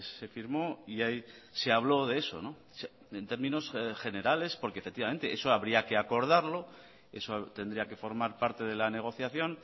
se firmó y ahí se habló de eso en términos generales porque efectivamente eso habría que acordarlo eso tendría que formar parte de la negociación